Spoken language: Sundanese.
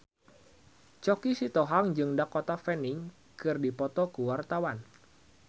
Choky Sitohang jeung Dakota Fanning keur dipoto ku wartawan